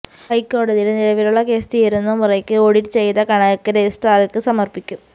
ഹൈക്കോടതിയില് നിലവിലുള്ള കേസ് തീരുന്ന മുറയ്ക്ക് ഓഡിറ്റ് ചെയ്ത കണക്ക് രജിസ്ട്രാര്ക്ക് സമര്പ്പിക്കും